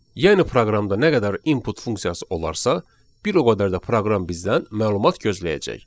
Yəni proqramda nə qədər input funksiyası olarsa, bir o qədər də proqram bizdən məlumat gözləyəcək.